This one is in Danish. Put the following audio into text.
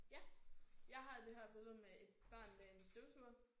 Ja. Jeg har det her billede med et barn med en støvsuger